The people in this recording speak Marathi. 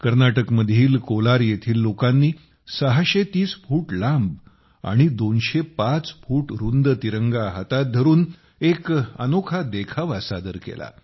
कर्नाटक मधील कोलार येथील लोकांनी 630 फूट लांब आणि 205 फूट रुंद तिरंगा हातात धरून एक अनोखा देखावा सादर केला